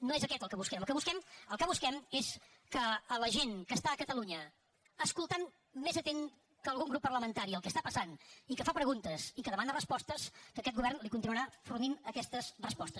no és aquest el que busquem el que busquem el que busquem és que a la gent que està a catalunya escoltant més atenta que algun grup parlamentari el que està passant i que fa preguntes i que demana respostes que aquest govern li continuarà fornint aquestes respostes